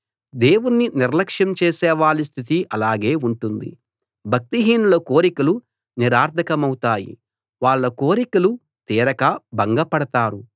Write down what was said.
దేవుణ్ణి నిర్లక్ష్యం చేసేవాళ్ళ స్థితి అలాగే ఉంటుంది భక్తిహీనుల కోరికలు నిరర్థకమౌతాయి వాళ్ళ కోరికలు తీరక భంగపడతారు